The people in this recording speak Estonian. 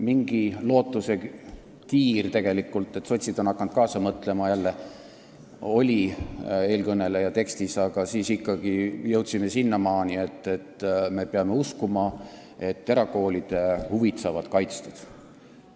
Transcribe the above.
Mingi lootusekiir tegelikult, et sotsid on hakanud jälle kaasa mõtlema, oli eelkõneleja tekstis, aga siis jõudsime ikkagi selleni, et me peame uskuma, et erakoolide huvid saavad kaitstud.